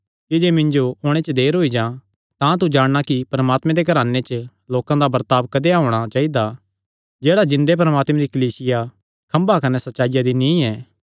कि जे मिन्जो ओणे च देर होई जां तां तू जाणगा कि परमात्मे दे घराने च लोकां दा बर्ताब कदेया होणा चाइदा जेह्ड़ा जिन्दे परमात्मे दी कलीसिया खम्भा कने सच्चाईया दी नीई ऐ